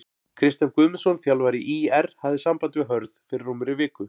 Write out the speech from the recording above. Kristján Guðmundsson þjálfari ÍR hafði samband við Hörð fyrir rúmri viku.